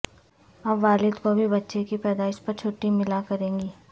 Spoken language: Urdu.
اب والد کو بھی بچے کی پیدائش پر چھٹی ملا کرے گی